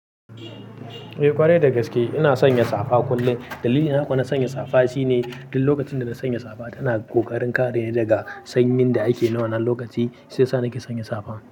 Eh ƙwarai dagaske, ina sanya safa kullum. Dalilin haka na sanya safa shine duk lokacin da na sanya safa tana ƙoƙarin kare ni daga sanyin da ake nan wanan lokaci, siyasa nake sanya safa.